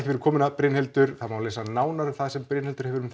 fyrir komuna Brynhildur það má lesa nánar það sem Brynhildur hefur um